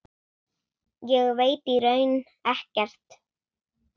Ég veit í raun ekkert.